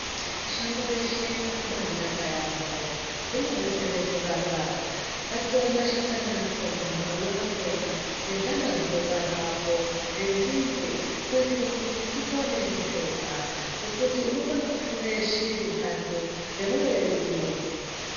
Shango reshe rakaba naka yambo rinodetsera kurapa ngatitore mashakani akona maruva akona nezvana zvino barwapo nenzinde kuitire kuti tipone ndizvona ngekuti unokone kufura shiri ndatu nebuwe rimwe.